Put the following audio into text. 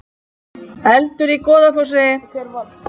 Eldur í Goðafossi